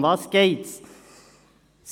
Worum geht es?